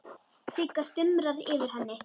Sigga stumrar yfir henni.